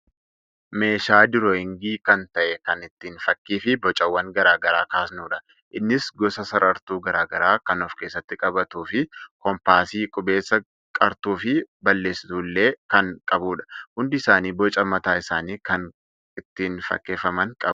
Meeshaa diroowingii kan ta'e kan ittiin fakkiifi bocawwan garaagaraa kaasnudha. Innis gosa sarartuu garaagaraa kan of keessatti qabatuufi koompaasii, qubeessaa, qartuufi balleessituullee kan qabudha. Hundi isaanii boca mataa isaanii kan ittiin fakkeeffaman qabu.